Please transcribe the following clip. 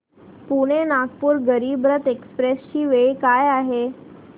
Pune Nagpur Garib Rath express ची वेळ काय आहे